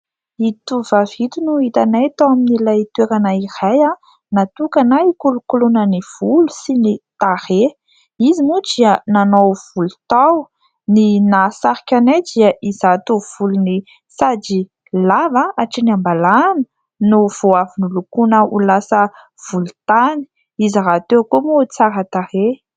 Ito tovovavy ito no hitanay tao amin'ilay toerana iray natokana ikolokoloana ny volo sy ny tarehy. Izy moa dia nanao volo tao ny nahasarika anay dia izato volony sady lava hatrany ambalahana no vao avy nolokoina ho lasa volontany, izy rahateo koa moa tsara tarehy.